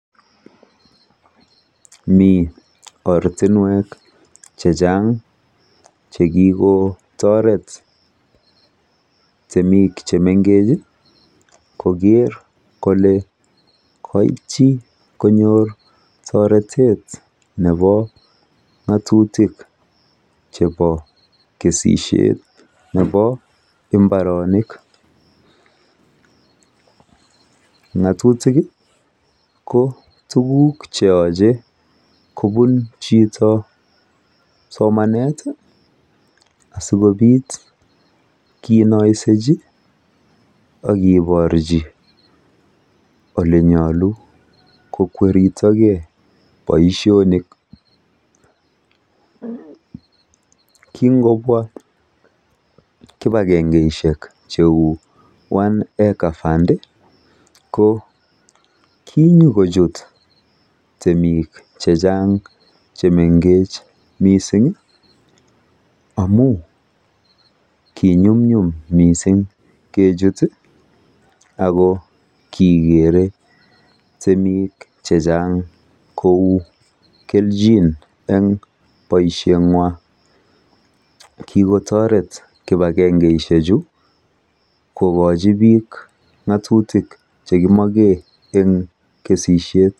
Mi ortinwek chechang chekikotoret temik chemenkech koker kole kaitchi konyor toretet nepo ng'atutik chepo kesishet nepo imbaronik. Ng'atutik ko tuguk cheyoche kobun chito somanet asikobit kinoisechi akeporchi olenyolu kokweriytogei boishonik. Kingobwa kipakengeishek cheu One acre fund ko kinyokuchut temik chechang chemenkech mising amu kinyumnyum mising kechut ako kikere temik chechang ku kelchin eng boisheng'wa. Kikotoret kipakengeishechu kokochi biik ng'atutik chekimoke eng temishet.